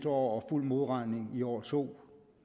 år og fuld modregning i år to